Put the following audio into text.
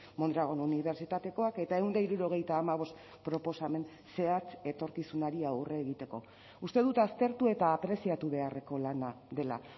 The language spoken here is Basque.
mondragon unibertsitatekoak eta ehun eta hirurogeita hamabost proposamen zehatz etorkizunari aurre egiteko uste dut aztertu eta apreziatu beharreko lana dela